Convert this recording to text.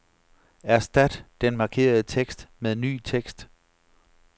Erstat den markerede tekst med ny tekst.